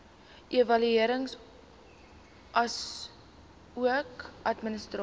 evaluering asook administrasie